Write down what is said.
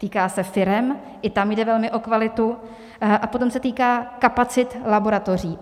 Týká se firem, i tam jde velmi o kvalitu, a potom se týká kapacit laboratoří.